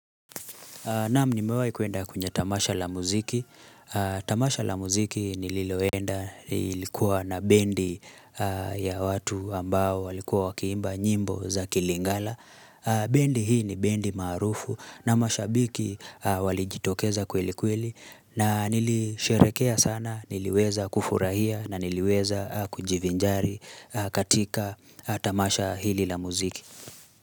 Naam nimewahi kwenda kwenye Tamasha la muziki. Tamasha la muziki nililoenda ilikuwa na bendi ya watu ambao walikuwa wakiimba nyimbo za kilingala. Bendi hii ni bendi maarufu na mashabiki walijitokeza kweli kweli na nilisherehekea sana niliweza kufurahia na niliweza kujivinjari katika Tamasha hili la muziki.